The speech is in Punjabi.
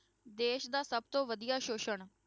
ਦੇਸ ਦਾ ਸਭ ਤੋਂ ਵਧੀਆ ਸ਼ੋਸ਼ਣ।